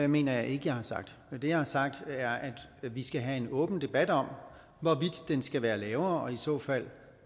mener jeg ikke jeg har sagt det jeg har sagt er at vi skal have en åben debat om hvorvidt den skal være lavere og i så fald